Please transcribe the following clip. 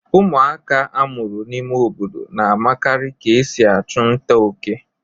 Ụmụaka a mụrụ n'ime obodo na-makarị ka e si achụ nta óké.